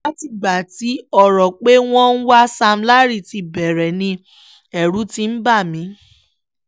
látìgbà tí ọ̀rọ̀ pé wọ́n ń wá sam larry ti bẹ̀rẹ̀ ni ẹ̀rù ti ń bà mí